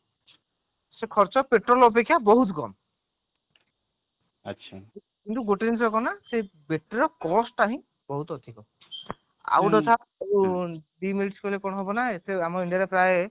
ସେ ଖର୍ଚ୍ଚ ପେଟ୍ରୋଲ ଅପେକ୍ଷା ବହୁତ କମ କିନ୍ତୁ ଗୋଟେ ଜିନିଷ କଣ ନା ସେ battery ର cost ଟା ହିଁ ବହୁତ ଅଧିକ ଆଉ ଗୋଟେ କଥା ପରେ କଣ ହବ ନା ଆମ india ରେ ପ୍ରାୟ